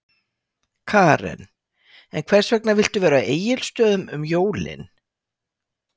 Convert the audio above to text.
Karen: En hvers vegna viltu vera á Egilsstöðum um jólin?